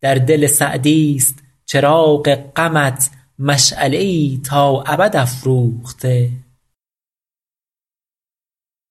در دل سعدیست چراغ غمت مشعله ای تا ابد افروخته